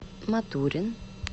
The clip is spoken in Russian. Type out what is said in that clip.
матурин